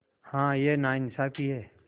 हाँ यह नाइंसाफ़ी है